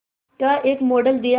का एक मॉडल दिया